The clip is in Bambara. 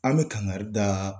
An bɛ kangari da